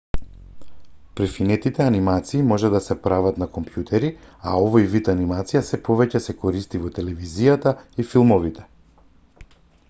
префинетите анимации може да се прават на компјутери а овој вид анимација сѐ повеќе се користи во телевизијата и филмовите